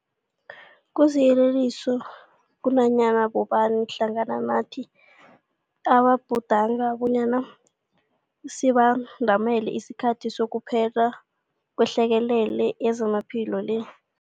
Kusiyeleliso kunanyana bobani hlangana nathi ababhudanga bonyana sibandamele isikhathi sokuphela kwehlekelele yezamaphilo le.